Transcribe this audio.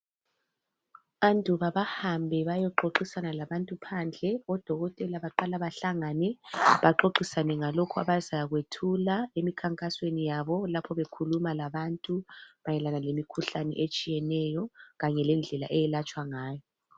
Anduba bahambe bayoxoxisana labantu phandle, odokotela baqala bahlangane baxoxisane ngalokhu abazakwethula emikhankasweni yabo lapho bekhuluma labantu mayelana lemikhuhlane etshiyeneyo kanye lendlela eyelatshwa ngayo.